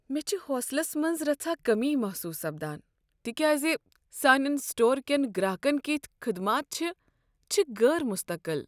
مےٚ چھِ حوصلس منٛز رژھا كمی محسوس سپدان تكیازِ سانٮ۪ن سٹورکین گراكن کتھۍ خدمات چھِ، چھِ غیر مستقل۔